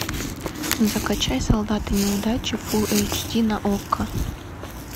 закачай солдаты неудачи фулл эйч ди на окко